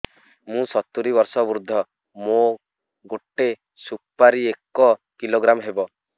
ମୁଁ ସତୂରୀ ବର୍ଷ ବୃଦ୍ଧ ମୋ ଗୋଟେ ସୁପାରି ଏକ କିଲୋଗ୍ରାମ ହେବ